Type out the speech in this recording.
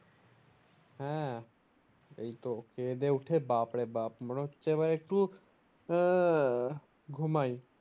হ্যাঁ এইতো খেয়ে দেয়ে উঠে বাপরে বাপ মনে হচ্ছে এবার একটু আহ ঘুমাই